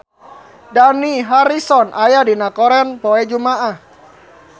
Dani Harrison aya dina koran poe Jumaah